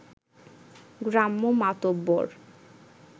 গ্রাম্য মাতব্বর